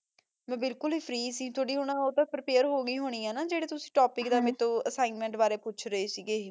ਮਾ ਬਿਲਕੁਲ ਹੀ ਫ੍ਰੀ ਸੀ ਓਉਤੋਫ਼ ਰੇਪੈਰ ਹੋ ਗੀ ਹ ਜਰਾ ਟੋਇਪ੍ਕ ਤੁਸੀਂ ਅਸ੍ਸਿਗ੍ਨ੍ਮੇੰਟ ਬਾਰਾ ਪੋਚਿਆ ਆ ਸ਼ਾਰ੍ਸ਼ ਹ